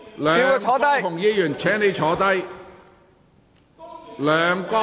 梁國雄議員，請坐下。